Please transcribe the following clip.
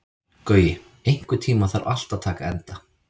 Gaui, einhvern tímann þarf allt að taka enda.